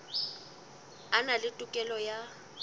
a na le tokelo ya